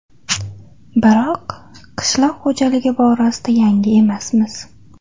Biroq qishloq xo‘jaligi borasida yangi emasmiz.